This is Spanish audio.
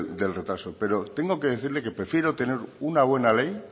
del retraso pero tengo que decirle que prefiero tener una buena ley